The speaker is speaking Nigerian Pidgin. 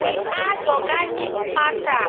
we add organic matter